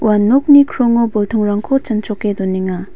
ua nokni krongo boltongrangko chanchoke donenga.